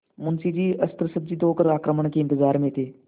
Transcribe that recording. मुंशी जी अस्त्रसज्जित होकर आक्रमण के इंतजार में थे